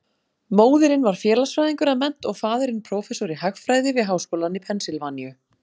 Móðirin var félagsfræðingur að mennt og faðirinn prófessor í hagfræði við háskólann í Pennsylvaníu.